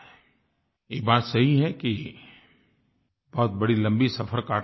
ये बात सही है कि बहुत बड़ी लम्बी सफ़र काटनी है